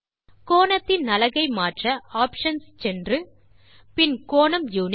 கோணத்தின் அலகை மாற்ற ஆப்ஷன்ஸ் சென்று பின் கோணம் யுனிட்